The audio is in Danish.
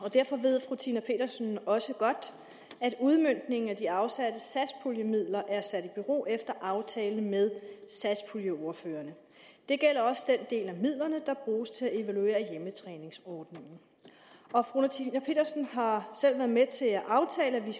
og derfor ved fru tina petersen også godt at udmøntningen af de afsatte satspuljemidler er sat i bero efter aftale med satspuljeordførerne det gælder også den del af midlerne der bruges til at evaluere hjemmetræningsordningen og fru tina petersen har selv været med til at aftale et